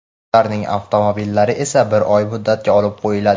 Ularning avtomobillari esa bir oy muddatga olib qo‘yiladi.